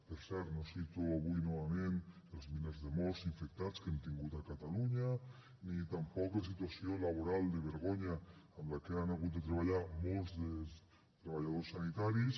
per cert no cito avui novament els milers de morts infectats que hem tingut a catalunya ni tampoc la situació laboral de vergonya amb la que han hagut de treballar molts dels treballadors sanitaris